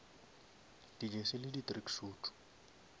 di jersey le di tracksuit